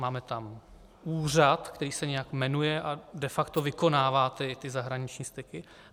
Máme tam úřad, který se nějak jmenuje a de facto vykonává ty zahraniční styky.